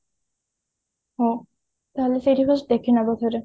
ହଁ ତାହେଲେ ସେଇଠି fast ଦେଖି ନେବା ଥରେ